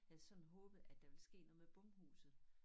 Havde sådan håbet at der ville ske noget med bomhuset